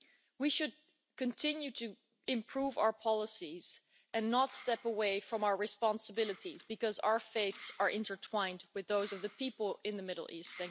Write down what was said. We should continue to improve our policies and not step away from our responsibilities because our fates are intertwined with those of the people in the Middle East.